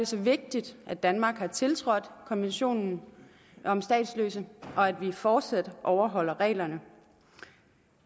så vigtigt at danmark har tiltrådt konventionen om statsløse og at vi fortsat overholder reglerne